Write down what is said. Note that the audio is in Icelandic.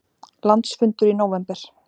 Landsfundur í nóvember